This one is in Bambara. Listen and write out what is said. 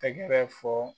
Tɛgɛrɛ fɔ